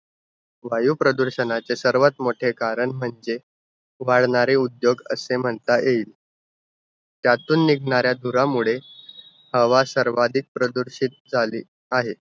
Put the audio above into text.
वायुप्रदूषणाचा सर्वात मोठे कारण म्हणजे वाढणारे उद्योग, असे म्हणता येईल. त्यातून निघणाऱ्या धुरामुळे हवा सार्वधिक प्रदूषित झाली आहे.